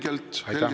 Aitäh, Mart Helme!